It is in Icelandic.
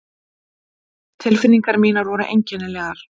Tilfinningar mínar voru einkennilegar.